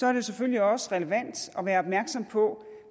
er det selvfølgelig også relevant at være opmærksom på